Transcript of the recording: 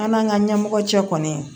An n'an ka ɲɛmɔgɔ cɛ kɔni